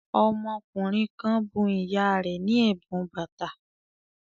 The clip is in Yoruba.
Ọmọkùnrin kan bun ìyá rẹ̀ ní ẹ̀bùn bàtà